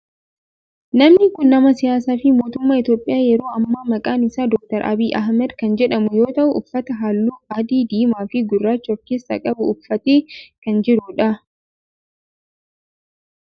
Namni kun nama siyaasaa fi mootummaa Itiyoophiyaa yeroo ammaa maqaan isaa Dr. Abiyi Ahimeed kan jedhamu yoo ta'u uffata halluu adii, diimaa fi gurraacha of keessaa qabu uffatee kan jirudha.